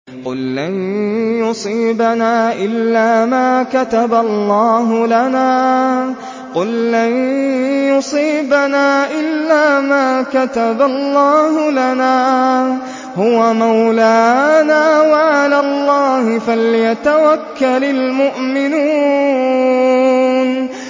قُل لَّن يُصِيبَنَا إِلَّا مَا كَتَبَ اللَّهُ لَنَا هُوَ مَوْلَانَا ۚ وَعَلَى اللَّهِ فَلْيَتَوَكَّلِ الْمُؤْمِنُونَ